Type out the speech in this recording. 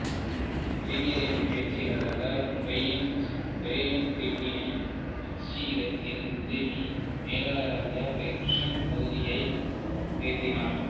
இளைஞர் அணி பயிற்சியாளரான ப்ரையன் கிட்டினை நாக்ஸின் இடத்தில் உதவி மேலாளராக பெர்குசன் பதவி உயர்த்தினார்